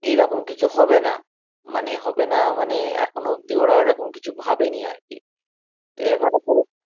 এরকম কিছু হবে না, মানে হবে না মানে এখনো অব্দি ওরা এরকম কিছু ভাবেনি আর কি আচ্ছা ওটা ভুয়ো খবর